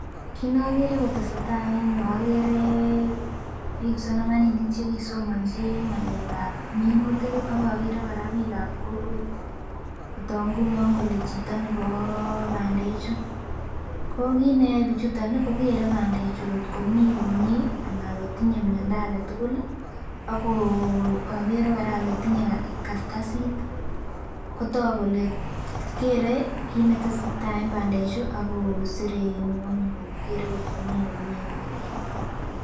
Kit nokere kotesetai en yuu okere kipsomaninik chekisomonji ng'alek ab minutik ak okere kora biik ab kokwet kotok ngunon kole chito nebo bandechu. Ko kit neyoe bichuton ih kokere bandechu kot komii komie anan kotinye miondo aketugul ih ako okere kora ole tinye kartasit kotok kole kere kit netesetai en bandechu akosire en ng'weny ko kere kot komii komie bandek